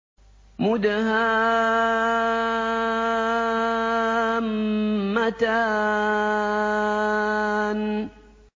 مُدْهَامَّتَانِ